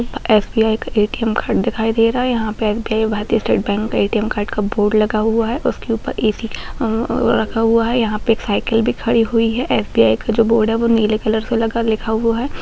SBI. का ATM. Card दिखाई दे रहा है यहाँ पे SBI. Bharatiya state bank ATM. Card का बोर्ड लगा हुआ है उसके ऊपर ए.सी. रखा हुआ है यहाँ पे एक साइकिल भी खड़ी हुई है एस.बी.आई. का जो बोर्ड है वो नीले कलर का लगा लिखा हुआ है।